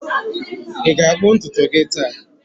Ị ga-akpụ ntutu gị taa?